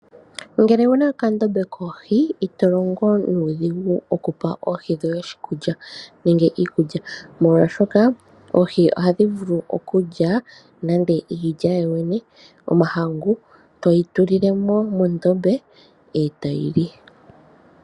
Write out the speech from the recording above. Ngele owu na okandombe koohi, ito longo nuudhigu oku pa oohi dhoye oshikulya, nenge iikulya, molwashoka oohi ohadhi vulu okulya nande iilya yooyene yomahangu, todhi tulile mo mondombe, e tadhi li.